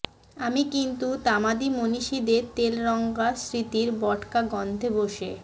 আমি কিন্তু তামাদি মনীষীদের তেলরঙা স্মৃতির বোটকা গন্ধে বসে